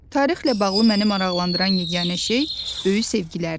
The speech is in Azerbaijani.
Tarixlə bağlı məni maraqlandıran yeganə şey böyük sevgilərdir.